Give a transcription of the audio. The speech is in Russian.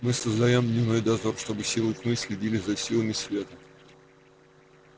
мы создаём дневной дозор чтобы силы тьмы следили за силами света